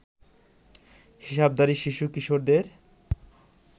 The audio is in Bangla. হিসাবধারী শিশু-কিশোরদের